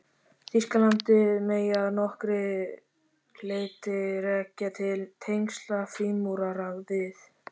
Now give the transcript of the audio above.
Þýskalandi megi að nokkru leyti rekja til tengsla frímúrara við